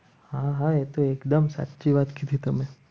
હા ભાઈ તો એકદમ સાચી વાત કીધી તમે